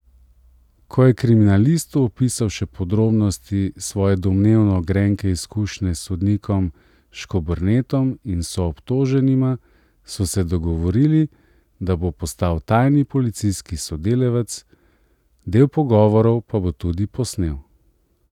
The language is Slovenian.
Ko je kriminalistu opisal še podrobnosti svoje domnevno grenke izkušnje s sodnikom Škobernetom in soobtoženima, so se dogovorili, da bo postal tajni policijski sodelavec, del pogovorov pa bo tudi posnel.